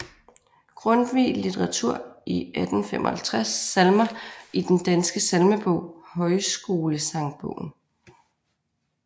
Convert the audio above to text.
Grundtvig Litteratur i 1855 Salmer i Den Danske Salmebog Højskolesangbogen